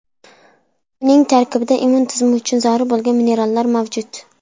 Uning tarkibida immun tizimi uchun zarur bo‘lgan minerallar mavjud.